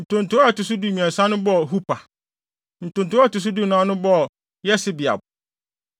Ntonto a ɛto so dumiɛnsa no bɔɔ Hupa. Ntonto a ɛto so dunan no bɔɔ Yesebeab.